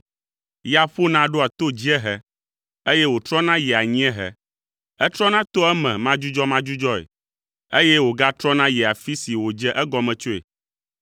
Ya ƒona ɖoa ta dziehe eye wòtrɔna yia anyiehe. Etrɔna toa eme madzudzɔmadzudzɔe eye wògatrɔna yia afi si wòdze egɔme tsoe.